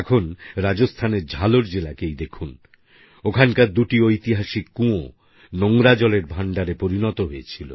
এখনরাজস্থানের ঝালর জেলাকেই দেখুন ওখানের দুটি ঐতিহাসিক কুঁয়ো নোংরা জলের ভাণ্ডারে পরিণত হয়েছিল